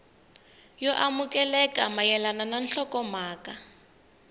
yo amukeleka mayelana na nhlokomhaka